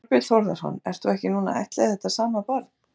Þorbjörn Þórðarson: Ert þú ekki núna að ættleiða þetta sama barn?